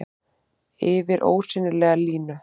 Yfir ósýnilega línu.